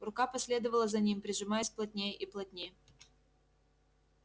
рука последовала за ним прижимаясь плотнее и плотнее